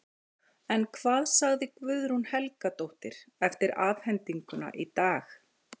En hvað sagði Guðrún Helgadóttir eftir afhendinguna í dag?